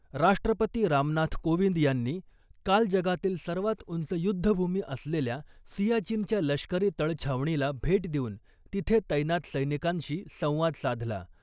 राष्ट्रपती रामनाथ कोविंद यांनी काल जगातील सर्वात उंच युध्द भूमी असलेल्या सियाचीनच्या लष्करी तळ छावणीला भेट देऊन तिथे तैनात सैनिकांशी संवाद साधला .